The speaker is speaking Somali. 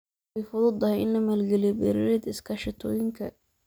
Way fududahay in la maalgeliyo beeraleyda iskaashatooyinka.